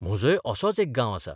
म्हजोय असोच एक गांव आसा.